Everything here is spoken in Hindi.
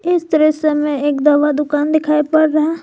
इस दृश्य में एक दवा दुकान दिखाई पड़ रहा--